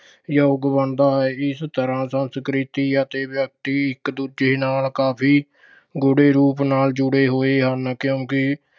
ਯੋਗ ਬਣਦਾ ਹੈ। ਇਸ ਤਰ੍ਹਾਂ ਸੰਸਕ੍ਰਿਤੀ ਅਤੇ ਵਿਅਕਤੀ ਇੱਕ ਦੂਜੇ ਨਾਲ ਕਾਫ਼ੀ ਗੂੜੇ ਰੂਪ ਨਾਲ ਜੁੜੇ ਹੋਏ ਹਨ ਕਿਉਂਕਿ